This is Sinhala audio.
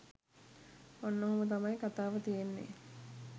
ඔන්න ඔහොම තමයි කතාව තියෙන්නේ.